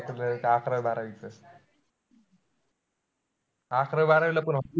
अकरावी बारावीच अकरावी बारावीला पण होती,